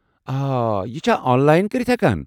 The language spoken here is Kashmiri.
اوہ، یہِ چھا آن لاین کٔرِتھ ہیٚکان ؟